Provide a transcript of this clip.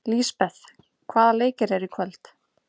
Lisbeth, hvaða leikir eru í kvöld?